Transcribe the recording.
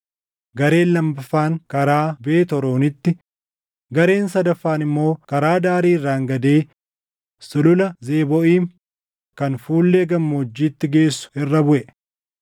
gareen lammaffaan karaa Beet Horoonitti, gareen sadaffaan immoo karaa daarii irraangadee Sulula Zebooʼiim kan fuullee gammoojjiitti geessu irra buʼe.